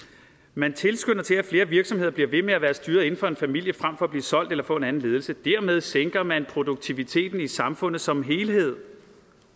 man tilskynder til at flere virksomheder bliver ved med at være styret inden for en familie frem for at blive solgt eller få en anden ledelse dermed sænker man produktiviteten i samfundet som helhed